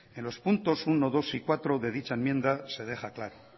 en los puntos uno dos y cuatro de dicha enmienda se deja claro